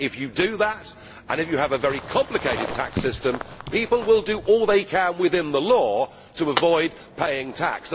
If you do that, and if you have a very complicated tax system, people will do all they can within the law to avoid paying tax.